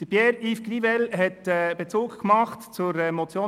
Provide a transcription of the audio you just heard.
Pierre-Yves Grivel hat einen Bezug zur Motion